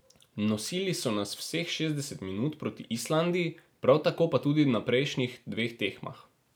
Nosili so nas vseh šestdeset minut proti Islandiji, prav tako pa tudi na prejšnjih dveh tekmah.